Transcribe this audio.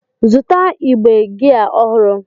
Zụta igbe gia ọhụrụ!